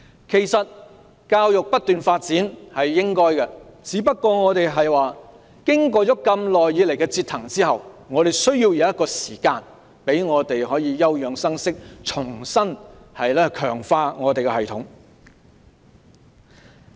其實，教育不斷發展是應該的，只不過經過長久以來的折騰，我們需要時間休養生息，重新強化我們的系統。